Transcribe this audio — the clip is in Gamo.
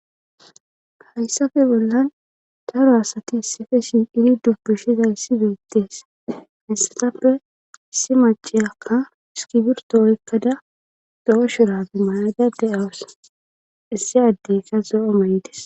hayssafe bollan daro asati issife si ini dubbishiza issi beettees hessatappe isi maciyakka iskibirto oykkada do7o shurafi mayada de7awas issi addey ka zoo7o mayides